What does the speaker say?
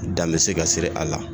Dan bɛ se ka sigi a la.